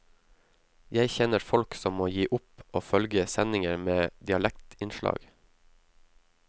Jeg kjenner folk som må gi opp å følge sendinger med dialektinnslag.